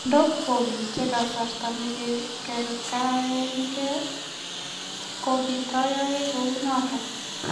Ndogimiten gasarta na kegerengei gogitoyoe kuunoton.